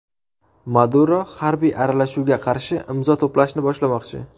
Maduro harbiy aralashuvga qarshi imzo to‘plashni boshlamoqchi.